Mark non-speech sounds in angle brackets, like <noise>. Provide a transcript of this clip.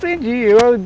Hoje <unintelligible>